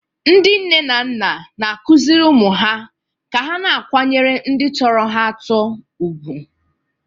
Ndị nne na nna na-akụziri ụmụ ha ka ha na-akwanyere ndị sọrọ ha asọ ùgwù.